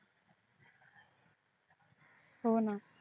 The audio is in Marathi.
हो ना